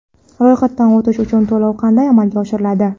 Ro‘yxatdan o‘tish uchun to‘lov qanday amalga oshiriladi?.